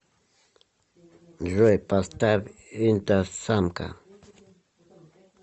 джой поставь инстасамка